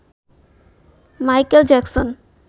Michael Jackson